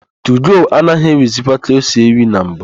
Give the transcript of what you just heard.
Tugo anaghị éwìzikwa ka o si éwì na mbụ.